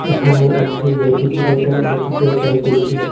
এখানে একটি রেফ্রিজারেটর দেখিতে পাইতেসি।